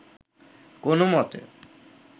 কোন মতে